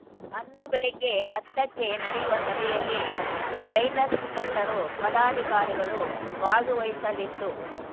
ಅಂದು ಬೆಳಿಗ್ಗೆ ಹತ್ತು ಕ್ಕೆ ನಡೆಯುವ ಸಭೆಯಲ್ಲಿ ರೈತ ಸ ಮುಖಂಡರು ಪದಾಧಿಕಾರಿಗಳು ಭಾಗುವಹಿಸಲಿದ್ದು